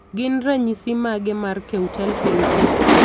Gin ranyisis mage mar Keutel syndrome?